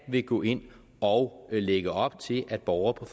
vil gå ind og lægge op til at borgere